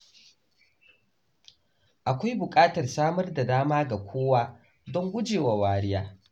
Akwai buƙatar samar da dama ga kowa don gujewa wariya.